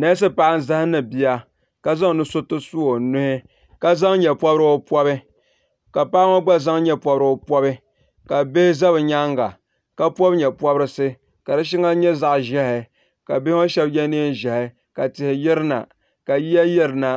neesi paɣa n zahandi bia ka zaŋ nusuriti su o nuhi ka zaŋ nyɛ pobirigu pobi ka paɣa ŋɔ gba zaŋ nyɛ pobirigu pobi ka bihi ʒɛ bi nyaanga ka pobi nyɛ pobirisi ka di shɛŋa nyɛ zaɣ ƶiɛhi ka bihi ŋɔ shab yɛ neen ʒiɛhi ka tihi yirina ka yiya yirina